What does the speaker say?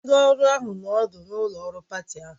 Ndị ọrụ ahụ nọ ọdụ n'ụlọ ọrụ pati ahụ